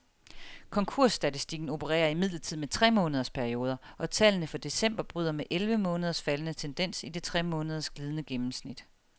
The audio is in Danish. Konkursstatistikken opererer imidlertid med tremåneders perioder, og tallene for december bryder med elleve måneders faldende tendens i det tremåneders glidende gennemsnit.